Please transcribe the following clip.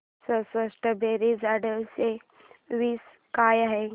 चौसष्ट बेरीज आठशे वीस काय आहे